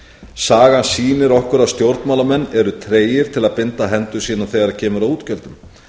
sagan sýnir okkur að stjórnmálamenn eru tregir til að binda hendur sínar þegar kemur að útgjöldum